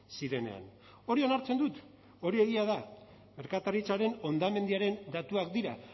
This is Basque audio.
zirenean hori onartzen dut hori egia da merkataritzaren hondamendiaren datuak dira